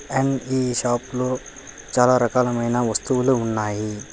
And ఈ shop లో చాలా రకాలమైన వస్తువులు ఉన్నాయి.